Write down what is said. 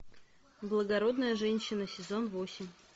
благородная женщина сезон восемь